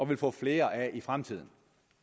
vil få flere af i fremtiden